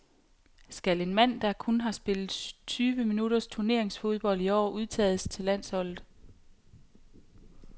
Skal en mand, der kun har spillet tyve minutters turneringsfodbold i år, udtages til landsholdet?